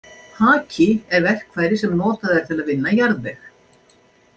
Haki er verkfæri sem notað er til að vinna jarðveg.